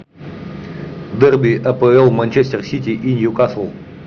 дерби апл манчестер сити и ньюкасл